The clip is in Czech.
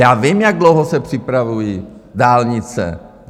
Já vím, jak dlouho se připravují dálnice.